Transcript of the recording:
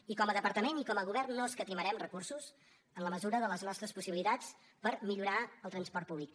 i com a departament i com a govern no escatimarem recursos en la mesura de les nostres possibilitats per millorar el transport públic